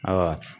Ayiwa